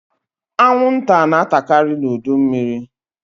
Anwụnta na-atakaari n'udu mmịrị.